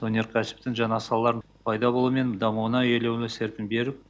өнеркәсіптің жаңа салалары пайда болуы мен дамуына елеулі серпін беріп